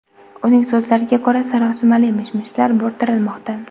Uning so‘zlariga ko‘ra, sarosimali mish-mishlar bo‘rttirilmoqda.